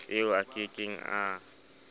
eo a ke keng a